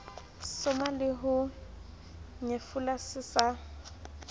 soma leho nyefola se sa